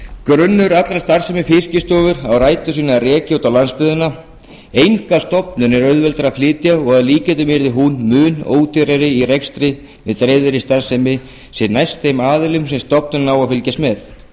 grunnur allrar starfsemi fiskistofu á rætur sínar að rekja út á landsbyggðina enga stofnun er auðveldara að flytja og að líkindum yrði hún mun ódýrari í rekstri með dreifðri starfsemi sem næst þeim aðilum sem stofnunin á að fylgjast með